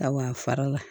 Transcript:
Ka wa fara la